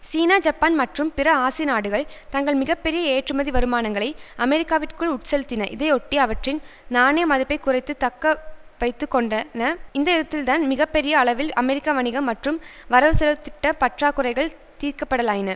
சீனா Japan மற்றும் பிற ஆசிய நாடுகள் தங்கள் மிக பெரிய ஏற்றுமதி வருமானங்களை அமெரிக்காவிற்குள் உட்செலுத்தின இதையொட்டி அவற்றின் நாணய மதிப்பை குறைத்து தக்க வைத்து கொண்டன இந்தவிதத்தில்தான் மிக பெரிய அளவில் அமெரிக்க வணிகம் மற்றும் வரவுசெலவு திட்ட பற்றாக்குறைகள் தீர்க்கப்படலாயின